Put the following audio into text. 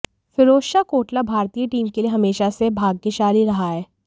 फिरोजशाह कोटला भारतीय टीम के लिए हमेशा से भाग्यशाली रहा है